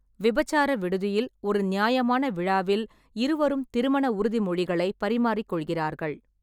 விபச்சார விடுதியில் ஒரு நியாயமான விழாவில் இருவரும் திருமண உறுதிமொழிகளை பரிமாறிக் கொள்கிறார்கள்.